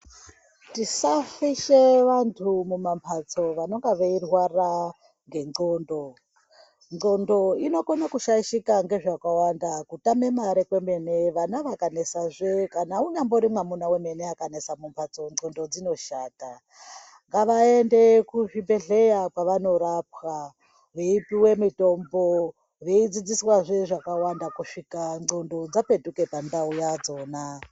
Tisafishe vantu mumambatso vanonga veirwara ngendxondo. Ndxondo inokona kushaishika ngezvakawanda, kutama mare kwemene vana vakanesazve kunyambori mwamuna wemene akanesa mumbatso ndxondo dzinoshata . Ngavaende kuzvibhedhlera kwaanorapwa veipuwa mitombo veidzidziswazve zvakawanda kusvika ndxondo dzadzoka pandau yadzona.